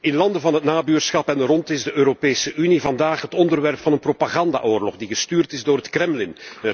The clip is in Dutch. In landen van het nabuurschap en errond is de Europese Unie vandaag het voorwerp van een propagandaoorlog die gestuurd wordt door het Kremlin.